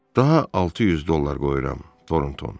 Daha 600 dollar qoyuram, Tornton.